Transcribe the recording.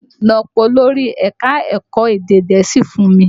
Lọ pé olórí ẹ̀ka ẹ̀kọ́ èdè Gẹ̀ẹ́sì fún mi!